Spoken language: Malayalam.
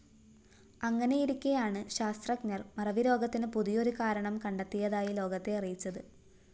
അങ്ങനെയിരിക്കെയാണ് ശാസ്ത്രജ്ഞര്‍ മറവിരോഗത്തിന് പുതിയൊരു കാരണം കണ്ടെത്തിയതായി ലോകത്തെ അറിയിച്ചത്